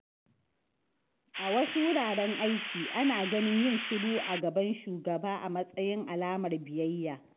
A wasu wuraren aiki, ana ganin yin shiru a gaban shugaba a matsayin alamar biyayya.